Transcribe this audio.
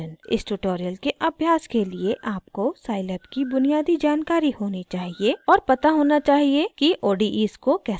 इस ट्यूटोरियल के अभ्यास के लिए आपको scilab की बुनियादी जानकारी होनी चाहिए और पता होना चाहिए कि odes को कैसे हल करते हैं